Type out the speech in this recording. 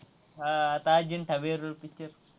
हा आता अजिंठा वेरूळ picture